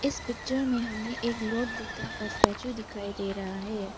इस पिक्चर में हमें एक लार्ड बुद्ध का स्टेचू दिखाई दे रहा है।